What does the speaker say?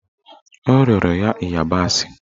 O rịọrọ ya ịyabasị